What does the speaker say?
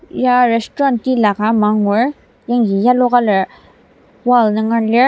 ya restuarant tila ka ama angur yangji yellow colour wall nunger lir.